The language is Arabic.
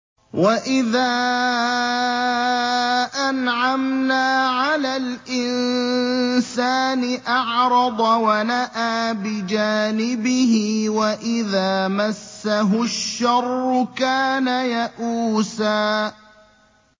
وَإِذَا أَنْعَمْنَا عَلَى الْإِنسَانِ أَعْرَضَ وَنَأَىٰ بِجَانِبِهِ ۖ وَإِذَا مَسَّهُ الشَّرُّ كَانَ يَئُوسًا